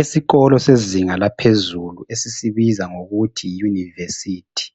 Esikolo sezinga laphezulu esisibiza ngokuthi yi yunivesithi.